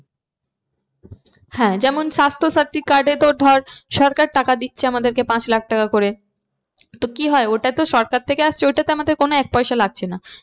যেমন swasthya sati card এ তোর ধর সরকার টাকা দিচ্ছে আমাদেরকে পাঁচ লাখ টাকা করে। তো কি হয় ওটা তো সরকার থেকে আসছে ওইটাতে আমাদের কোনো এক পয়সা লাগছে না।